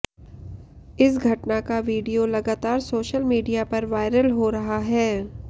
इस घटना का वीडियो लगातार सोशल मीडिया पर वायरल हो रहा है